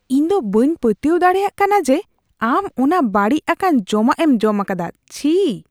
ᱤᱧ ᱫᱚ ᱵᱟᱹᱧ ᱯᱟᱹᱛᱭᱟᱹᱣ ᱫᱟᱲᱮᱭᱟᱜ ᱠᱟᱱᱟ ᱡᱮ ᱟᱢ ᱚᱱᱟ ᱵᱟᱹᱲᱤᱡ ᱟᱠᱟᱱ ᱡᱚᱢᱟᱜ ᱮᱢ ᱡᱚᱢ ᱟᱠᱟᱫᱟ ᱾ ᱪᱷᱤ !